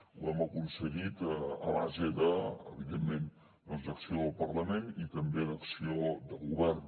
ho hem aconseguit a base de evidentment doncs d’acció del parlament i també d’acció de govern